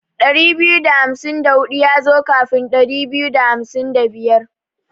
Ɗari biyu da hamsin da hudu yazo kafin Ɗari biyu da hamsin da biyar.